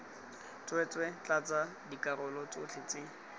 tsweetswee tlatsa dikarolo tsotlhe tse